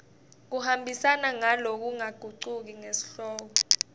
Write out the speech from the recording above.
kuhambisana ngalokungagucuki nesihloko